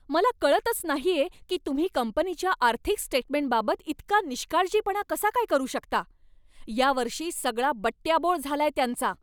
मला कळतच नाहीये की तुम्ही कंपनीच्या आर्थिक स्टेटमेंटबाबत इतका निष्काळजीपणा कसा काय करू शकता. या वर्षी सगळा बट्ट्याबोळ झालाय त्यांचा.